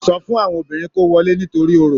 Sọ fún àwọn obìnrin kọ́ wọlé nítorí Orò.